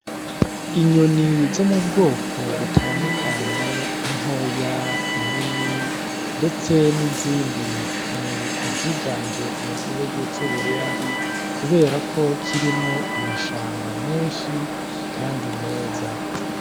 Inyoni zo mu bwoko butandukanye intoya inini, ndetse n'izindi ni iziganje mu gihugu c'uburundi, kubera ko kirimwo amashamba menshi, kandi meza.